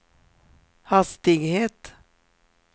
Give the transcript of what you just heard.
hastighet